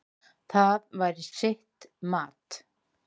Það væri sitt mat.